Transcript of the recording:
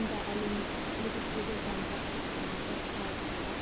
онда әлеуметтік үлгідегі заңдар топтамасы талқыға